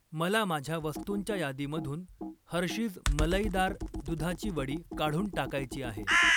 मला माझ्या वस्तुंच्या यादीमधून हर्षीज मलईदार दुधाची वडी काढून टाकायची आहे.